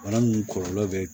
Bana munnu kɔlɔlɔ be